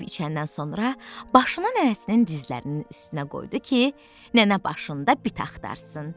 Yeyib içəndən sonra başını nənəsinin dizlərinin üstünə qoydu ki, nənə başında bit axtarsın.